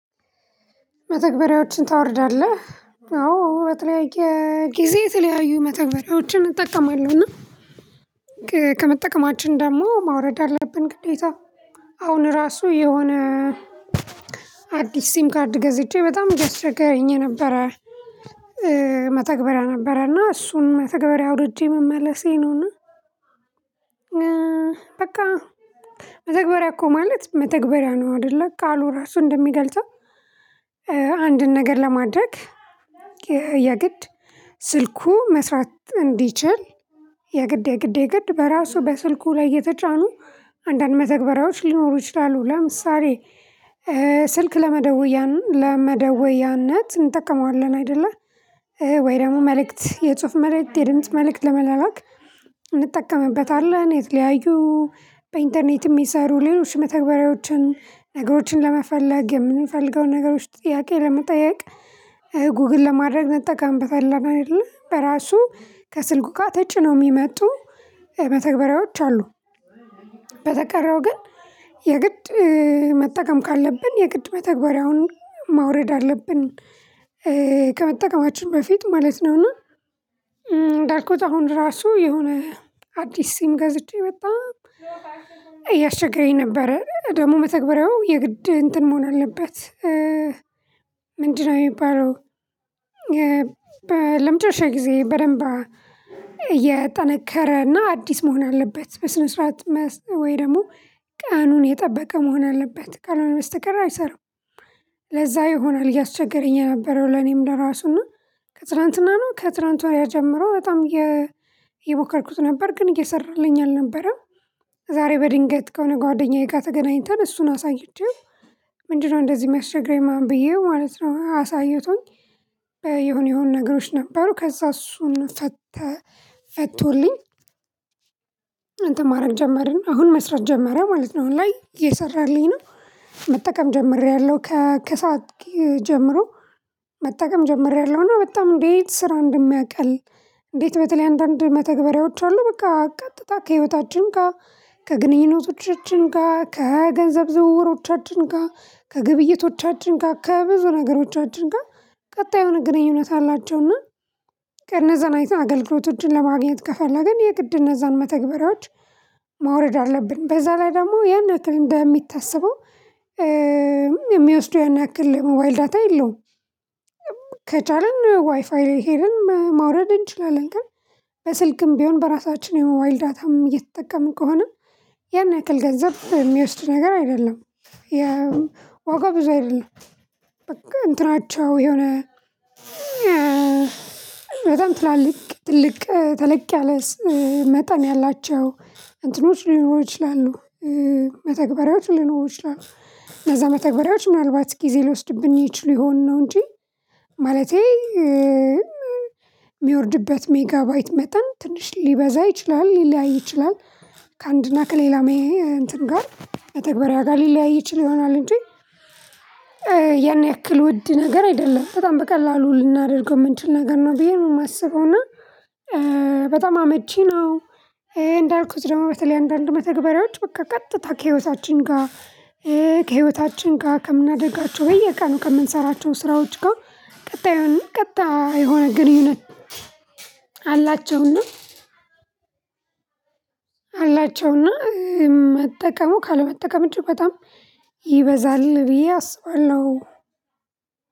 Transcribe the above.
መተግበሪያዎችን ታወርዳለህ አዎ በተለያየ ጊዜ የተለያዩ መተግበሪያዎችን እጠቀማለሁ። እና ከመጠቀማችን ደሞ ማውረድ አለብን ግዴታ። አሁን ራሱ የሆነ አዲስ ሲም ካርድ ገዝቼ በጣም እያስቸገረኝ ነበረ። መተግበሪያ ነበረ እና እሱን መተግበሪያ አውርጄ መመለሴ ነውና። በቃ መተግበሪያ እኮ ማለት መተግበሪያ ነው አይደለ ቃሉ ራሱ እንደሚገልጸው። አንድን ነገር ለማድረግ የግድ ስልኩ መስራት እንዲችል የግድ የግድ የግድ በራሱ በስልኩ ላይ የተጫኑ አንዳንድ መተግበሪያዎች ሊኖሩ ይችላሉ። ለምሳሌ ስልክ ለመደወያነት እንጠቀመዋለን አይደለ? ወይ ደግሞ መልእክት የጽሁፍ መልእክት የድምጽ መልእክት ለመላላክ እንጠቀምበታለን የተለያዩ በኢንተርኔትም ሚሰሩ ሌሎች መተግበሪያዎችን ነገሮችን ለመፈለግ የምንፈልገውን ነገሮች ጥያቄ ለመጠየቅ ጉግል ለማድረግ መጠቀም በፈለገግነው አይደለ በራሱ ከስልኩ ጋ ተጭነው የሚመጡ መተግበሪያዎች አሉ። በተቀረው ግን የግድ መጠቀም ካለብን የግድ መተግበሪያውን ማውረድ አለብን። ከመጠቀማችን በፊት ማለት ነው። እና እንዳልኩት አሁን ራሱ የሆነ አዲስ ሲም ገዝቼ በጣም እያስቸገረኝ ነበረ ደግሞ መተግበሪያው የግድ እንትን መሆን አለበት። ምንድነው የሚባለው? ለመጨረሻ ጊዜ በደንብ የጠነከረና አዲስ መሆን አለበት በስነ ስርዓት ወይ ደግሞ ቀኑን የጠበቀ መሆን አለበት ካልሆነ በስተቀር አይሰራም። ለዛ ይሆናል እያስቸገረኝ የነበረው ለኔም ለራሱ እና ከትላንትና ነው ከትላንት ወዲያ ጀምሮ በጣም እነሞከርኩት ነበር። ግን እየሰራልኝ አልነበረም። ዛሬ በድንገት ከሆነ ጓደኛዬ ጋ ተገናኝተን እሱን አሳይቼው ምንድነው እንደዚህ የሚያስቸግረኝ ምናምን ብዬው ማለት ነው። አሳይቶኝ የሆነ የሆነ ነገሮች ነበሩ ከዛ እሱን ፈተ ፈቶልኝ። እንትን ማድረግ ጀመርን አሁን መስራት ጀመረ ማለት ነው። አሁን ላይ እየሰራልኝ ነው። መጠቀም ጀምሬያለሁ ከሳክ ጀምሮ መጠቀም ጀምሬያለሁ። እና በጣም እንዴት ስራ እንደሚያቀል። እንዴት? በተለይ አንዳንድ መተግበሪያዎች አሉ በቃ ቀጥታ ከህይወታችን ጋ ከግንኙነቶቻችን ጋ ከገንዘብ ዝውውሮቻችን ጋ ከግብይቶቻችን ጋ ከብዙ ነገሮቻችን ጋ ቀጣይ የሆነ ግንኙነት አላቸውና። እነዛን አይተን አገልግሎቶችን ለማግኘት ከፈለግን የግድ እነዛን መተግበሪያዎች ማውረድ አለብን። በዛ ላይ ደግሞ ያን ያክል እንደሚታሰበው የሚወስደው ያን ያክል የሞባይል ዳታ የለውም። ከቻልን ዋይፋይ ሄደን ማውረድ እንችላለን። ግን በስልክም ቢሆን በራሳችን የሞባይል ዳታም እየተጠቀምን ከሆነ ያን ያክል ገንዘብ የሚወስድ ነገር አይደለም። የዋጋ ብዙ አይደለም። በቃ እንትናቸው የሆነ በጣም ትላልቅ ትልቅ ተለቅ ያለ መጠን ያላቸው እንትኖች ሊኖሩ ይችላሉ። መተግበሪያዎች ሊኖሩ ይችላሉ። እነዛ መተግበሪያዎች ምናልባት ጊዜ ልወስድብን ይችሉ ይሆን ነው። እንጂ ማለቴ ሚወርድበት ሜጋባይት መጠን ትንሽ ሊበዛ ይችላል ሊለያይ ይችላል። ከአንድና ከሌላም እንትን ጋር መተግበሪያ ጋር ሊለያይ ይችል ይሆናል እንጂ። ያን ያክል ውድ ነገር አይደለም በጣም በቀላሉ ልናደርገው የምንችል ነገር ነው ብዬ ነው የማስበው። እና በጣም አመቺ ነው። እንዳልኩት ደግሞ በተለይ አንዳንድ መተግበሪያዎች በቃ ቀጥታ ከህይወታችን ጋ ከህይወታችን ጋ ከምናደርጋቸው በየቀኑ ከምንሰራቸው ስራዎች ጋ ቀጣዩን ቀጣ የሆነ ቀጣይ የሆነ ግንኙነት አላቸውና። አላቸውና መጠቀሙ ካለመጠቀም እጅግ በጣም ይበዛል ብዬ አስባለሁ።